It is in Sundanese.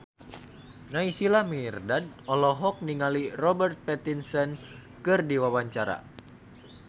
Naysila Mirdad olohok ningali Robert Pattinson keur diwawancara